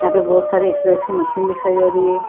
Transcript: यहाँ पे बहुत सारे एक्सरसाइज की मशीन दिखाई दे रही है।